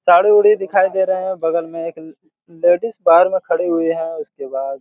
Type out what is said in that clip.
साड़ीउड़ी दिखाई दे रहे हैं बगल में एक--उम्म--लेडीज बाहार में खड़ी हुई हैं उसके बाद--